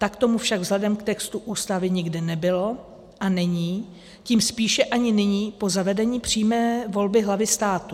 Tak tomu však vzhledem k textu Ústavy nikdy nebylo a není, tím spíše ani nyní po zavedení přímé volby hlavy státu.